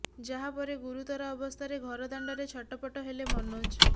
ଯାହାପରେ ଗୁରୁତର ଅବସ୍ଥାରେ ଘର ଦାଣ୍ଡରେ ଛଟପଟ ହେଲେ ମନୋଜ